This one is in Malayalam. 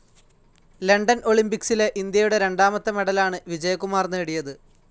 ലണ്ടൻ ഒളിംപിക്സിലെ ഇന്ത്യയുടെ രണ്ടാമത്തെ മെഡലാണ് വിജയകുമാർ നേടിയത്.